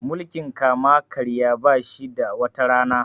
mukiln kama karya ba shi da wata Rana